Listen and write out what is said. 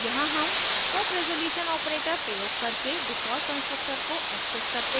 यहाँ हम scope resolution operator प्रयोग करके default constructor को access करते हैं